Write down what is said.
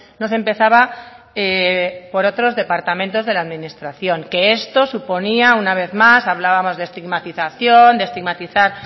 no se empezaba por otros departamentos de la administración que esto suponía una vez más hablábamos de estigmatización de estigmatizar